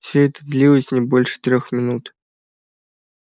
всё это длилось не больше трёх минут